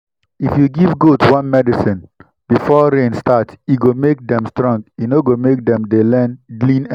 if you give goat worm medicine before rain start e go make dem strong e no go make dem dey lean anyhow